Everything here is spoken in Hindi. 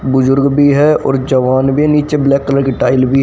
बुजुर्ग भी है और जवान भी नीचे ब्लैक कलर की टाइल भी--